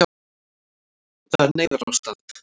Það er neyðarástand